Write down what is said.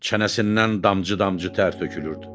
Çənəsindən damcı-damcı tər tökülürdü.